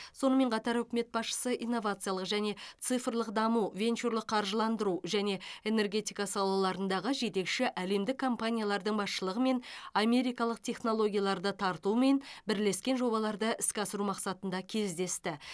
сонымен қатар үкімет басшысы инновациялық және цифрлық даму венчурлық қаржыландыру және энергетика салаларындағы жетекші әлемдік компаниялардың басшылығымен америкалық технологияларды тартумен бірлескен жобаларды іске асыру мақсатында кездесті